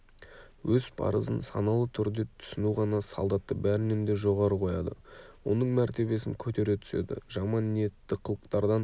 өз парызын саналы түрде түсіну ғана солдатты бәрінен де жоғары қояды оның мәртебесін көтере түседі жаман ниетті қылықтардан